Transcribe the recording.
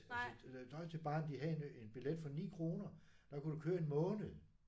Altså det der Deutsche Bahn de havde en en billet for 9 kroner. Der kunne du køre 1 måned